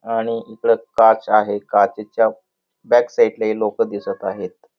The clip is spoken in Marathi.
आणि इकड काच आहे काचेच्या बॅक साईडला हे लोक दिसत आहेत.